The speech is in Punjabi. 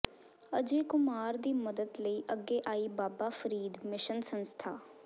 ਅਜੇ ਕੁਮਾਰ ਦੀ ਮਦਦ ਲਈ ਅੱਗੇ ਆਈ ਬਾਬਾ ਫਰੀਦ ਮਿਸ਼ਨ ਸੰਸਥਾ